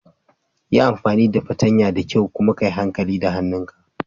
Yi amfani da fartanya da kyau kuma ka yi hankali da hannun ka.